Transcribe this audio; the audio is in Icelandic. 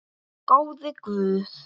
Góði Guð.